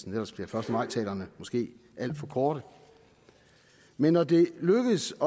ellers bliver første maj talerne måske alt for korte men når det er lykkedes